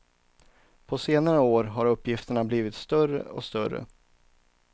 På senare år har uppgifterna blivit större och större.